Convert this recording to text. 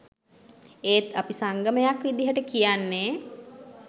ඒත් අපි සංගමයක් විදියට කියන්නේ